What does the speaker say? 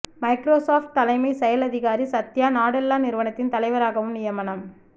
Microsoft தலைமை செயல் அதிகாரி சத்யா நடெல்லா நிறுவனத்தின் தலைவராகவும் நியமனம்